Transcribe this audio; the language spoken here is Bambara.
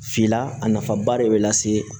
Finna a nafaba de bɛ lase